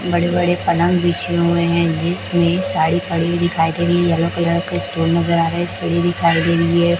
बड़े-बड़े पलंग बिछे हुए है बिच में एक साड़ी पड़ी हुई दिखाई दे रहीं है यलो कलर की स्टूल नज़र आ रहें है सुई दिखाई दे रहीं है।